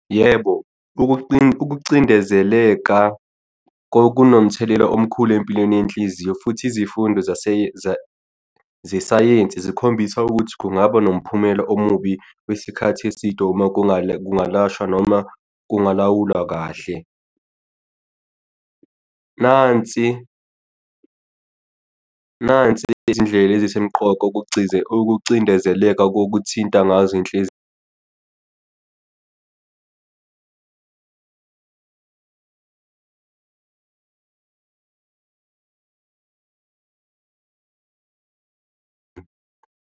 Yebo, ukucindezeleka kunomthelela omkhulu empilweni yenhliziyo futhi izifundo zesayensi zikhombisa ukuthi kungaba nomphumela omubi wesikhathi eside uma kungalashwa noma kungalawulwa kahle. Nansi, nansi izindlela ezisemqoka ukucindezeleka kokuthinta ngazo inhliziyo.